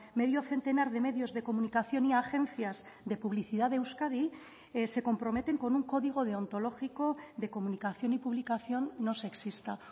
medio centenar de medios de comunicación y agencias de publicidad de euskadi se comprometen con un código deontológico de comunicación y publicación no sexista